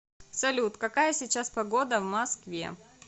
салют какая сейчас погода в москве